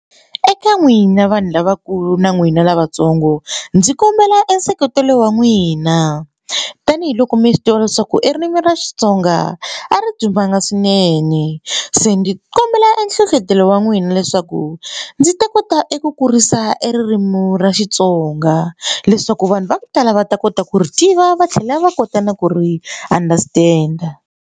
Eka n'wina vanhu lavakulu na n'wina lavatsongo ndzi kombela e nseketelo wa n'wina tanihiloko mi swi tiva leswaku i ririmi ra xitsonga a ri dumanga swinene se ni ndzi kombela e nhlohlotelo wa n'wina leswaku ndzi ta kota eku kurisa e ririmi ra xitsonga leswaku vanhu va ku tala va ta kota ku ri tiva va tlhela va kota na ku ri understand-a.